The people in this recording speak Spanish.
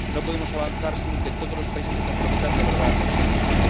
No podemos avanzar sin que todos los países se comprometan de verdad a conseguirlo